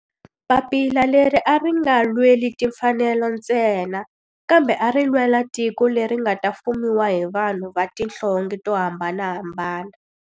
Papila leri a ri nga lweli timfanelo ntsena kambe ari lwela tiko leri nga ta fumiwa hi vanhu va tihlonge to hambanahambana.